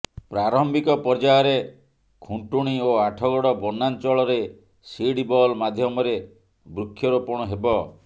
ପ୍ରାରମ୍ଭିକ ପର୍ଯ୍ୟାୟରେ ଖୁଣ୍ଟୁଣୀ ଓ ଆଠଗଡ଼ ବନାଞ୍ଚଳରେ ସିଡ୍ ବଲ୍ ମାଧ୍ୟମରେ ବୃକ୍ଷରୋପଣ ହେବ